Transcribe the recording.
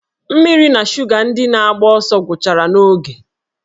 Mmiri na shuga ndị na-agba ọsọ gwụchara n'oge